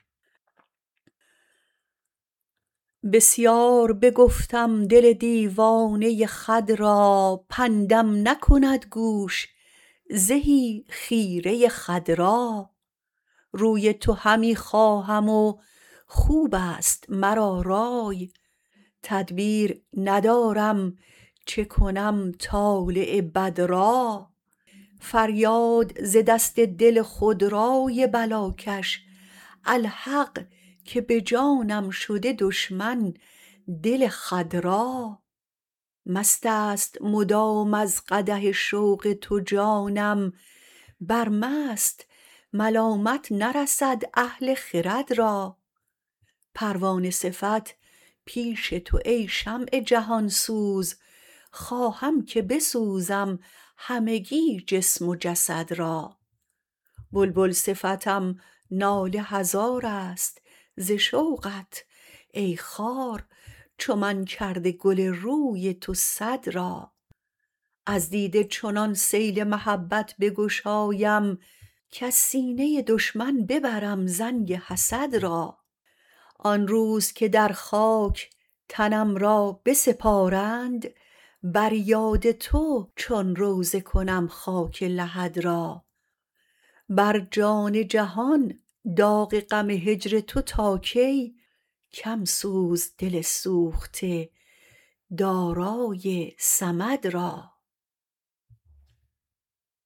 بسیار بگفتم دل دیوانه خود را پندم نکند گوش زهی خیره خود را روی تو همی خواهم و خوبست مرا رأی تدبیر ندارم چه کنم طالع بد را فریاد ز دست دل خودرأی بلاکش الحق که به جانم شده دشمن دل خود را مست است مدام از قدح شوق تو جانم بر مست ملامت نرسد اهل خرد را پروانه صفت پیش تو ای شمع جهان سوز خواهم که بسوزم همگی جسم و جسد را بلبل صفتم ناله هزارست ز شوقت ای خار چو من کرده گل روی تو صد را از دیده چنان سیل محبت بگشایم کز سینه دشمن ببرم زنگ حسد را آن روز که در خاک تنم را بسپارند بر یاد تو چون روضه کنم خاک لحد را بر جان جهان داغ غم هجر تو تا کی کم سوز دل سوخته دارای صمد را